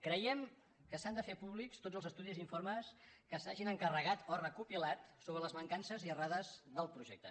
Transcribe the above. cre·iem que s’han de fer públics tots els estudis i informes que s’hagin encarregat o recopilat sobre les mancan·ces i errades del projecte